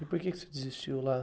E por que que você desistiu lá?